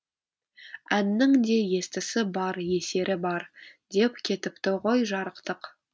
әннің де естісі бар есері бар деп кетіпті ғой жарықтық